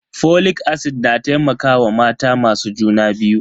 Folic acid na taimakawa mata masu juna biyu.